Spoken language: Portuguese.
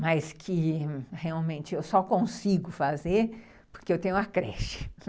Mas que realmente eu só consigo fazer porque eu tenho a creche.